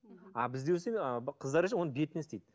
а бізде қыздар оны бетіне істейді